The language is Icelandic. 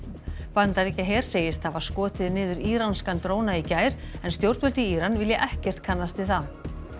Bandaríkjaher segist hafa skotið niður íranskan dróna í gær en stjórnvöld í Íran vilja ekkert kannast við það